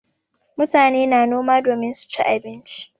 Mutane na noma domin su ci abinci.